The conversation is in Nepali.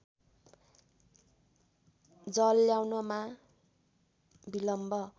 जल ल्याउनमा विलम्ब